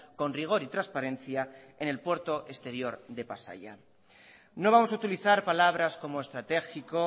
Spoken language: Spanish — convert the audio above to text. con rigor y transparencia en el puerto exterior de pasaia no vamos a utilizar palabras como estratégico